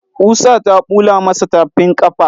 Ƙusa ta bula masa tafin ƙafa.